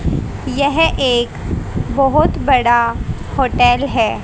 यह एक बहोत बड़ा होटल है।